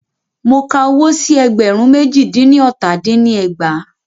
Mo ka owó sí ẹgbẹ̀rún méjì dín ní ọta dín ní ẹgbàá.